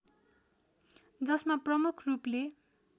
जसमा प्रमुख रूपले